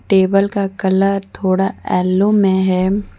Table का colour थोड़ा yellow में है।